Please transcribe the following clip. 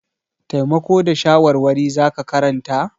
Taimako da shawarwari za ka karanta?